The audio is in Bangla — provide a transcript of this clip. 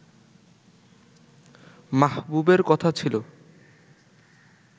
মাহবুবের কথা ছিল